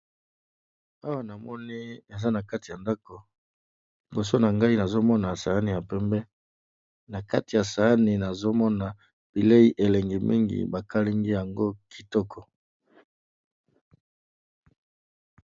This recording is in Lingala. Awa, namoni eza na kati ya ndako. Liboso na ngai, nazo mona sahani ya pembe. Na kati ya sahani, nazo mona bilei elengi mingi. Bakalingi yango kitoko.